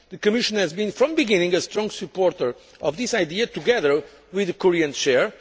area. The Commission has, from the beginning, been a strong supporter of this idea, together with the Korean chair.